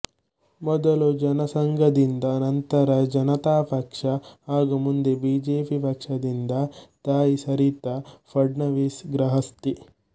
ಮೊದಲು ಜನಸಂಘದಿಂದ ನಂತರ ಜನತ ಪಕ್ಷ ಹಾಗೂ ಮುಂದೆ ಬಿಜೆಪಿ ಪಕ್ಷದಿಂದ ತಾಯಿ ಸರಿತ ಫಡ್ನವಿಸ್ ಗೃಹಸ್ತೆ